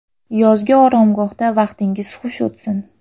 Yozgi oromgohda vaqtingiz xush o‘tsin!